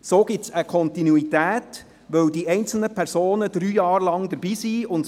Daraus ergibt sich eine Kontinuität, weil die einzelnen Personen drei Jahre lang dabei sind.